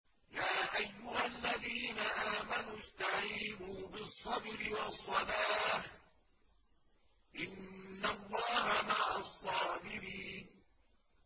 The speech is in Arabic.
يَا أَيُّهَا الَّذِينَ آمَنُوا اسْتَعِينُوا بِالصَّبْرِ وَالصَّلَاةِ ۚ إِنَّ اللَّهَ مَعَ الصَّابِرِينَ